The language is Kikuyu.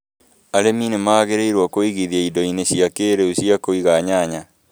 Arĩmi nĩ magĩrĩirũo kũigithia indo-inĩ cia kĩĩrĩu cia kũiga nyanya.